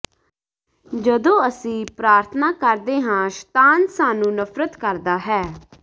ਜਦੋਂ ਅਸੀਂ ਪ੍ਰਾਰਥਨਾ ਕਰਦੇ ਹਾਂ ਸ਼ਤਾਨ ਸਾਨੂੰ ਨਫ਼ਰਤ ਕਰਦਾ ਹੈ